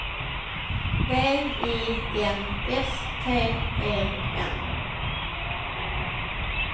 V I N S T E N